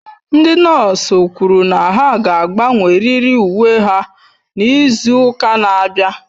Ndị nọọsụ kwụrụ na ha ga-agbanwerịrị uwe ha n'izu ụka na-abịa